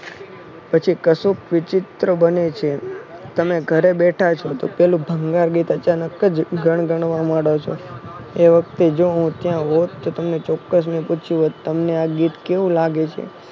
પછી કશુંક વિચિત્ર બને છે. તમે ઘરે બેથા છો તો પલુ બંગાર ગીત અચાનક જ ગણગણવા માણો છો. એ વખતે જો હું ત્યાં હોટ તો તમને ચોક્ક્સ મેં પૂછ્યું હોત તમને આ ગીત કેવું લાગે છે.